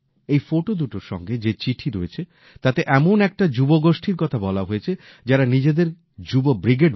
এই ফটো দুটোর সঙ্গে যে চিঠি রয়েছে তাতে এমন একটা যুবগোষ্ঠীর কথা বলা হয়েছে যারা নিজেদের যুব ব্রিগেড বলে